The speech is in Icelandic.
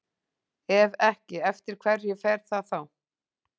Ef ekki, eftir hverju fer það þá?